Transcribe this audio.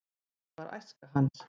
hvernig var æska hans